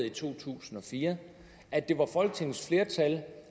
i to tusind og fire og at det var folketingets flertal